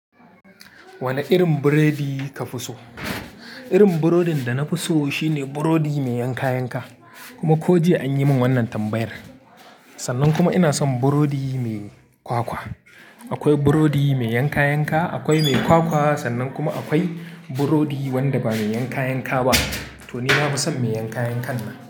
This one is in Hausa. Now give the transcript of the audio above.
Wane irin burodi ka fi so? Irin burodin da na fi so shine burodi mai yanka-yanka. Irin burodin da na fi so shine burodi mai yanka-yanka. Sannan kuma ina son burodi mai kwakwa. Akwai burodi mai yankan yanka, akwai mai kwakwa, sannan kuma akwai burodi wanda ba mai yankan yanka ba. To ni na fi san mai yanka-yankan ne.